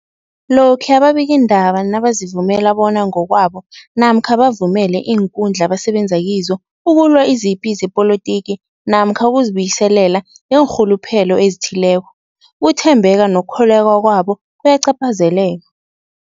Lokhuya ababikiindaba nabazivumela bona ngokwabo namkha bavumele iinkundla abasebenza kizo ukulwa izipi zepolitiki namkha ukuzi buyiselela ngeenrhuluphelo ezithileko, ukuthembeka nokukholweka kwabo kuyacaphazeleka.